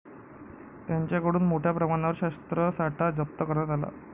त्यांच्याकडून मोठ्या प्रमाणावर शस्त्रसाठा जप्त करण्यात आला.